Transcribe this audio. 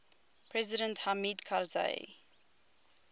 president hamid karzai